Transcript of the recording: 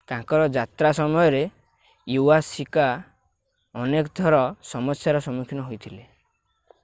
ତାଙ୍କର ଯାତ୍ରା ସମୟରେ ଇୱାସାକି ଅନେକ ଥର ସମସ୍ୟାର ସମ୍ମୁଖୀନ ହୋଇଥିଲେ